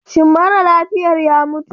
Shin mara lafiyar ya mutu?